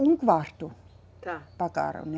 Um quarto. Tá. Pagaram, né?